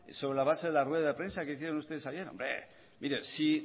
sobre la base de la rueda de prensa que hicieron ustedes ayer hombre mire si